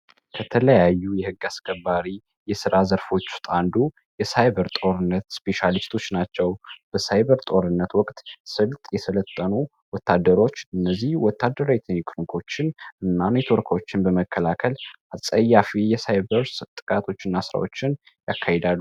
ከተለያዩ የህግ አስከባሪ የሥራ ዘርፎቹጣአንዱ የሳይበር ጦርነት ስፔሻሊስቶች ናቸው በሳይበር ጦርነት ወቅት ስልጥ የስለጠኑ ወታደሮች እነዚህ ወታደሮ የተኒክርኮችን እና ንትወርኮችን በመከላከል አፀያፊ የሳይበሮች ጥቃቶችን አስራዎችን ያካሂዳል።